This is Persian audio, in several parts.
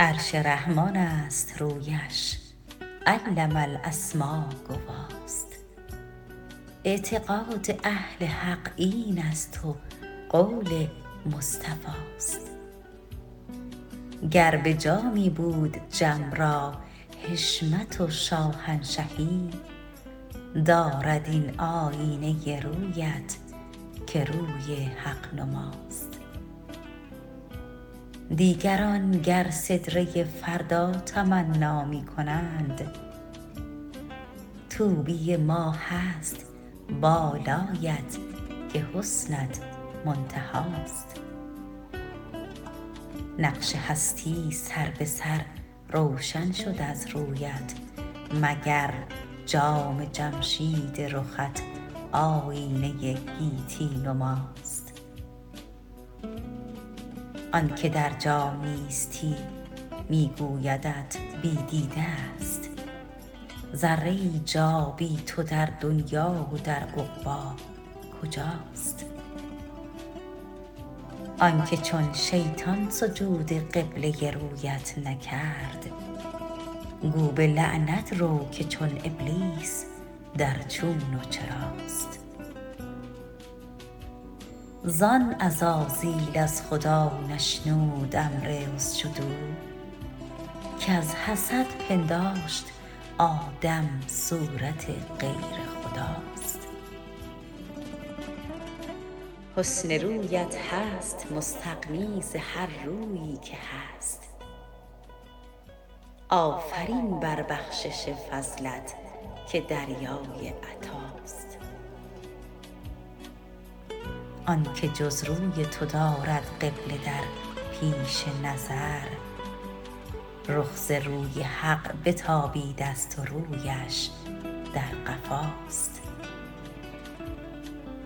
عرش رحمان است رویش علم الاسما گواست اعتقاد اهل حق این است و قول مصطفی است گر به جامی بود جم را حشمت و شاهنشهی دارد این آیینه رویت که روی حق نماست دیگران گر سدره فردا تمنا می کنند طوبی ما هست بالایت که حسنت منتهاست نقش هستی سر به سر روشن شد از رویت مگر جام جمشید رخت آیینه گیتی نماست آن که در جا نیستی می گویدت بی دیده است ذره ای جا بی تو در دنیا و در عقبی کجاست آن که چون شیطان سجود قبله رویت نکرد گو به لعنت رو که چون ابلیس در چون و چراست زان عزازیل از خدا نشنود امر اسجدوا کز حسد پنداشت آدم صورت غیر خداست حسن رویت هست مستغنی زهررویی که هست آفرین بر بخشش فضلت که دریای عطاست آن که جز روی تو دارد قبله در پیش نظر رخ ز روی حق بتابیده است و رویش در قفاست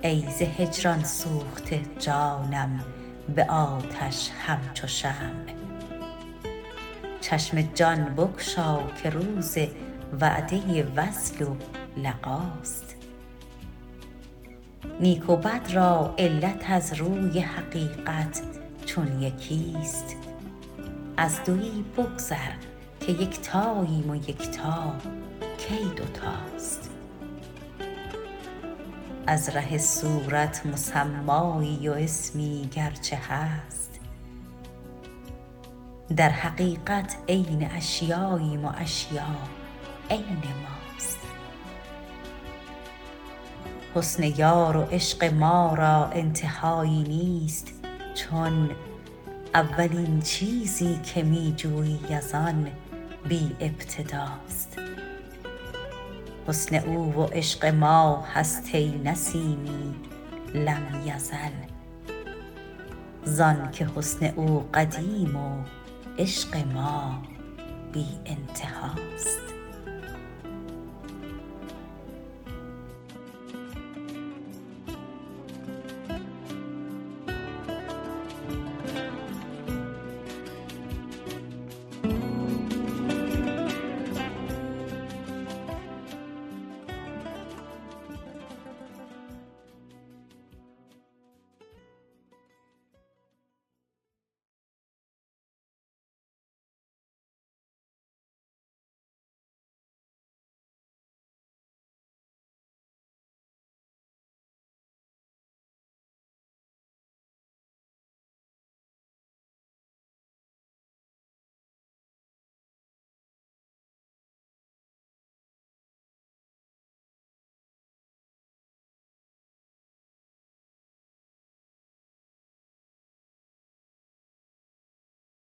ای ز هجران سوخته جانم به آتش همچو شمع چشم جان بگشا که روز وعده وصل و لقاست نیک و بد را علت از روی حقیقت چون یکی است از دویی بگذر که یکتاییم و یکتا کی دوتاست از ره صورت مسمایی و اسمی گرچه هست در حقیقت عین اشیاییم و اشیا عین ماست حسن یار و عشق ما را انتهایی نیست چون اولین چیزی که می جویی از آن بی ابتداست حسن او و عشق ما هست ای نسیمی لم یزل زان که حسن او قدیم و عشق ما بی انتهاست